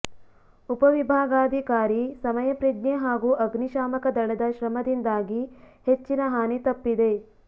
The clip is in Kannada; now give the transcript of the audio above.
ಉಪವಿಭಾಗಾಧಿಕಾರಿ ಸಮಯಪ್ರಜ್ಞೆ ಹಾಗೂ ಅಗ್ನಿಶಾಮಕ ದಳದ ಶ್ರಮದಿಂದಾಗಿ ಹೆಚ್ಚಿನ ಹಾನಿ ತಪ್ಪಿದೆ